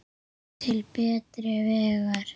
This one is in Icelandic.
Til betri vegar.